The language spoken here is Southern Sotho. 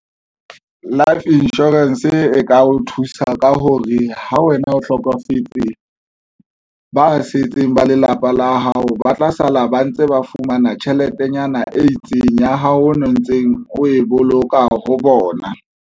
Life insurance e ka o thusa ka hore ha wena o hlokofetse, ba setseng ba lelapa la hao ba tla sala ba ntse ba fumana tjheletenyana e itseng ya hao o ntseng o e boloka ho bona.